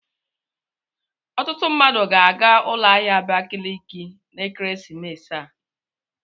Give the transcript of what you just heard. Ọtụtụ mmadụ ga-aga ụlọ ahịa Abakaliki na ekeresimesi a.